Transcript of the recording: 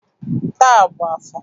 Taa bụ afọ.